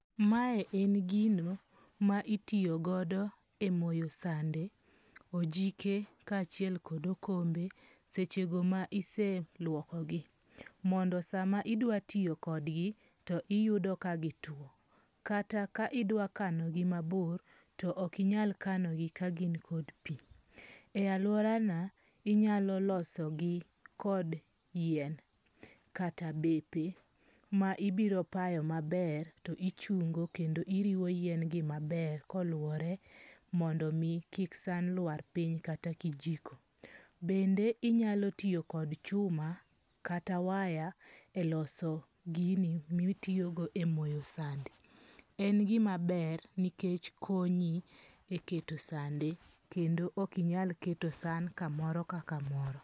Mae en gino ma itiyogodo e moyo sande, ojike ka achiel kod okombe seche go ma ise lwoko gi. Mondo sama idwa tiyo kodgi to iyudo ka gitwo. Kata ka idwa kanogi mabor, to ok inyal kanogi ka gin kod pi. E aluora na, inyalo loso gi kod yien kata bepe ma ibiro payo maber to ichungo kendo iriwo yien gi maber koluore mondo mi kik san luar piny kata kijiko. Bende inyalo tiyo kod chuma kata waya e loso gini mitiyogo e moyo sande. En gimaber nikech konyi e keto sande kendo ok inyal keto san kamoro ka kamoro.